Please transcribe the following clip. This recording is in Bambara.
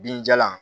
Binjalan